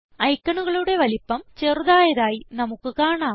ഐക്കണുകളുടെ വലുപ്പം ചെറുതായതായി നമുക്ക് കാണാം